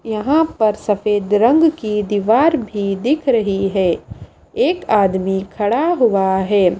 यहां पर सफेद रंग की दीवार भी दिख रही है एक आदमी खड़ा हुआ है।